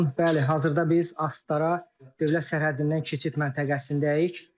Bəli, hazırda biz Astara dövlət sərhəddindən keçid məntəqəsindəyik.